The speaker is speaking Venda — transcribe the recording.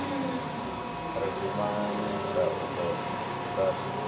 ri dimbanyika o ḓo kuvhanganya